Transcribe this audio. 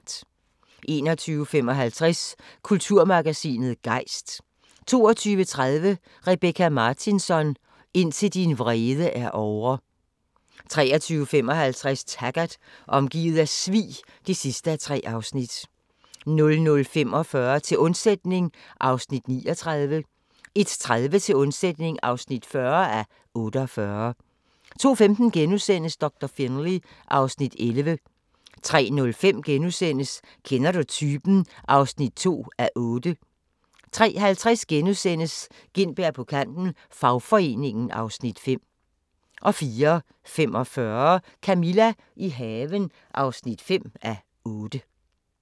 21:55: Kulturmagasinet Gejst 22:30: Rebecka Martinsson: Indtil din vrede er ovre 23:55: Taggart: Omgivet af svig (3:3) 00:45: Til undsætning (39:48) 01:30: Til undsætning (40:48) 02:15: Doktor Finlay (Afs. 11)* 03:05: Kender du typen? (2:8)* 03:50: Gintberg på kanten - fagforeningen (Afs. 5)* 04:45: Camilla – i haven (5:8)